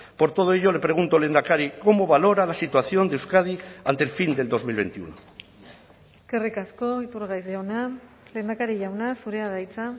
por todo ello le pregunto lehendakari cómo valora la situación de euskadi ante el fin del dos mil veintiuno eskerrik asko iturgaiz jauna lehendakari jauna zurea da hitza